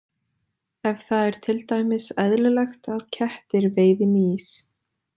Ef það er til dæmis eðlilegt að kettir veiði mýs.